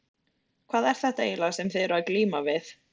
Hvað er þetta eiginlega sem þið eruð að glíma við?